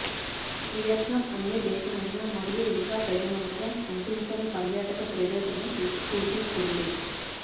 Vietnam అన్యదేశమైన మరియు ఇంకా తగినంతగా అంటించని పర్యాటక ప్రదేశంను సూచిస్తుంది